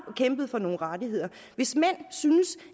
kæmpet for nogle rettigheder hvis mænd synes